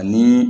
Ani